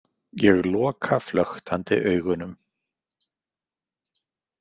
Ég loka flöktandi augunum.